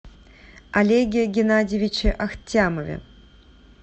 олеге геннадьевиче ахтямове